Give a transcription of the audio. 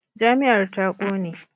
Jami'ar ta kone.